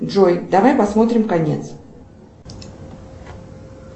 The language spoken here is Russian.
джой давай посмотрим конец